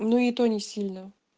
ну и то не сильно